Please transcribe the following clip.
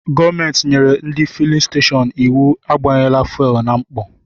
Gọọmenti nyere ndị fulin stashọọnu íwú agbanyela Fuwelu na mkpọ.